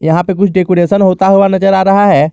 यहां पे कुछ डेकोरेशन होता हुआ नजर आ रहा है।